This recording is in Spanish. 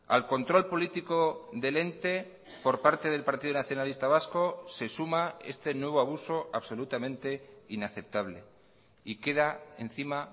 al control político del ente por parte del partido nacionalista vasco se suma este nuevo abuso absolutamente inaceptable y queda encima